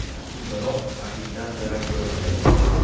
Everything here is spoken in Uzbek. Biroq raqibdan darak bo‘lmagan.